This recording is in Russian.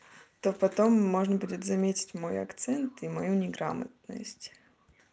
то потом можно будет заметить мой акцент и мою неграмотность